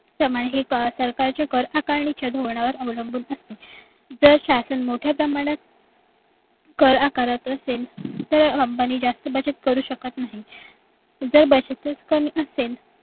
प्रमाणे हे कर सरकारचे कर आकारणीच्या धोरणावर अवलंबून असते जर शासन मोठ्या प्रमाणात कर आकारत असेल तर company जास्त बचत करू शकत नाही जर बचत करत नसेल